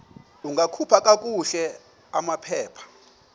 ungakhupha kakuhle amaphepha